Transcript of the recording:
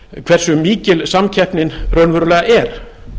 hversu mikil samkeppnin raunverulega er